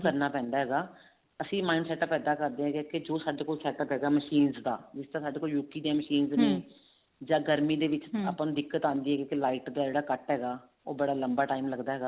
ਕਰਨਾ ਪੈਂਦਾ ਹੈਗਾ ਅਸੀਂ mind setup ਇੱਦਾਂ ਕਰਦੇ ਹਾਂ ਕੇ ਜੋ ਸਾਡੇ ਕੋਲ setup ਹੈਗਾ machines ਨੇ ਦਾ ਸਾਡੇ ਕੋਲ UK ਦੀਆਂ machines ਜਾਂ ਗਰਮੀ ਡੇ ਵਿੱਚ ਆਪਾਂ ਨੂੰ ਦਿੱਕਤ ਆਉਂਦੀ ਹੈ light ਦਾ ਜਿਹੜਾ cut ਹੈਗਾ ਉਹ ਬੜਾ ਲੰਬਾ time ਲੱਗਦਾ ਹੈਗਾ